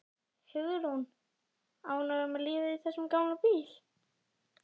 Hugrún: Ánægður með lífið í þessum gamla bíl?